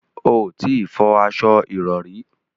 O ò tí ì fọ aṣo ìrọrí